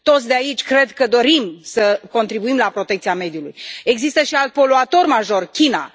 Toți de aici cred că dorim să contribuim la protecția mediului. Există și alt poluator major, China.